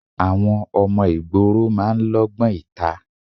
Àwọn ọmọ ìgboro máa ń lógbón ìta.